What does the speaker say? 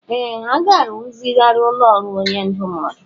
Ee! Ha ga-arụzigharị ụlọ ọrụ onye ndụmọdụ.